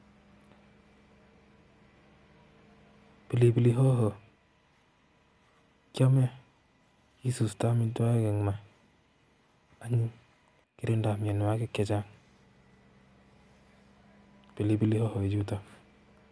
pilipili hoho kiame kisustoi amitwogik ing' ma any kirindoi mnyonwokik chechang' pilipili hohoichutok